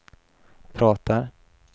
pratar